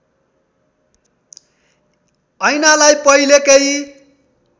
ऐनालाई पहिलेकै